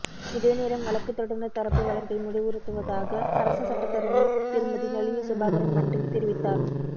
இதேநேரம் வழக்குத் தொடுனர் தரப்பு வழக்கை முடிவுறுத்துவதாக அரச சட்டத்தரணி திருமதி நளினி சுபாகரன் மன்றில் தெரிவித்தார்